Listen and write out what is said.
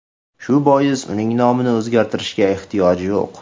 Shu bois uning nomini o‘zgartirishga ehtiyoj yo‘q.